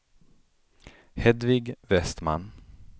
Hedvig Westman